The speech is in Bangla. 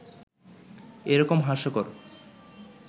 এ রকম হাস্যকর